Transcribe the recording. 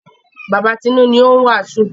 Bàba Tinú ni ó ń wàásù.